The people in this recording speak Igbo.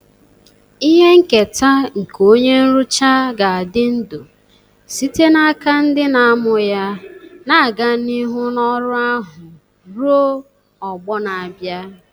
Ihe nketa nke onye nrụcha ga-adị ndụ site n'aka ndị na-amụ ya, na-aga n'ihu n'ọrụ ahụ ruo ọgbọ na-abịa.